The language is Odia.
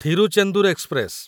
ଥିରୁଚେନ୍ଦୁର ଏକ୍ସପ୍ରେସ